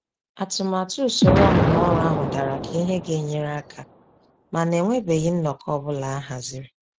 Atụmatụ usoro ọmụmụ ọrụ ahụ dara ka ihe ga-enyere aka ,mana enwebeghị nnọkọ ọ bụla ahaziri.